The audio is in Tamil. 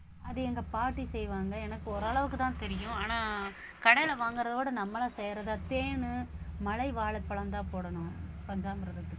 அது எங்க பாட்டி செய்வாங்க எனக்கு ஓரளவுக்குத்தான் தெரியும் ஆனா கடையில வாங்கறதை விட நம்மளா செய்யறதை தேனு, மலை வாழைப்பழம்தான் போடணும் பஞ்சாமிர்ததுக்கு